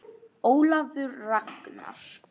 Ólafur Ragnar.